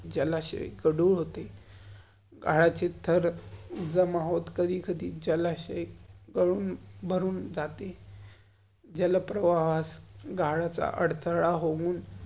जलाशय गदुल होते. गाळाची थर कधी कधी जलाशय गलुन मरून जाते. जल्प्रवाहस गाळाचा अदथ्ला होउन